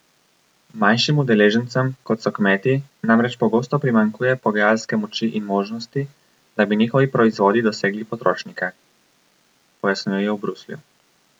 Manjšim udeležencem, kot so kmeti, namreč pogosto primanjkuje pogajalske moči in možnosti, da bi njihovi proizvodi dosegli potrošnike, pojasnjujejo v Bruslju.